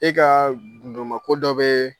E kaa gundoma ko dɔ bee